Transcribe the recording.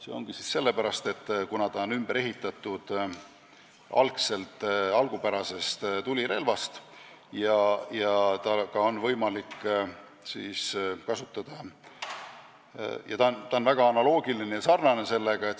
See on vajalik sellepärast, et akustiline relv on ümber ehitatud algupärasest tulirelvast ja on sellega väga sarnane.